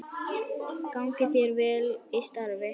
Gangi þér vel í starfi.